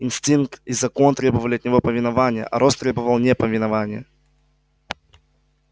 инстинкт и закон требовали от него повиновения а рост требовал неповиновения